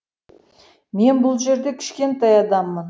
мен бұл жерде кішкентай адаммын